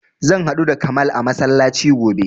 Zan haɗu da kamal a masallaci gobe